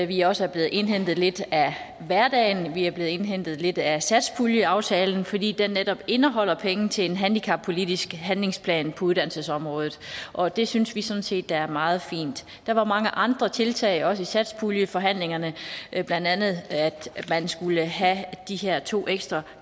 vi også er blevet indhentet lidt af hverdagen vi er blevet indhentet lidt af satspuljeaftalen fordi den netop indeholder penge til en handicappolitisk handlingsplan på uddannelsesområdet og det synes vi sådan set er meget fint der var mange andre tiltag i satspuljeforhandlingerne blandt andet at man skulle have de her to ekstra